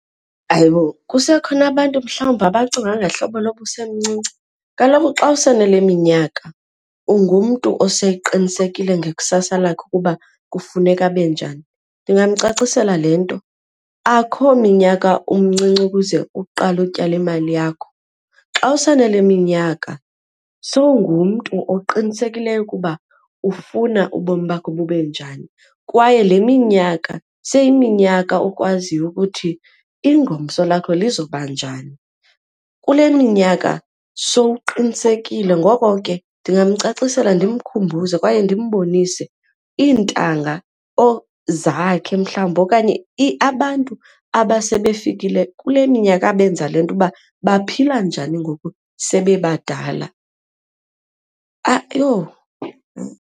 Hayibo, kusekhona abantu mhlawumbi abacinga ngehlobo loba usemncinci? Kaloku xa use nale minyaka ungumntu oseqinisekileyo ngekusasa lakhe ukuba kufuneka abe njani. Ndingamcacisela le nto, akho minyaka umncinci ukuze uqale utyale imali yakho xa usanale minyaka sowungumntu oqinisekileyo ukuba ufuna ubomi bakhe bube njani kwaye le minyaka seyiminyaka okwaziyo ukuthi ingomso lakho lizoba njani. Kule minyaka sowuqinisekile, ngoko ke ndingamcacisela ndimkhumbuze kwaye ndimbonise iintanga zakhe mhlawumbi okanye abantu abasebefikelele kule minyaka abenza le nto uba baphila njani ngoku sebebadala. Yho!